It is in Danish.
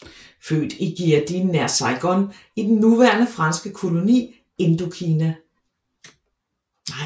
Født i Gia Dinh nær Saigon i den daværende franske koloni Indokina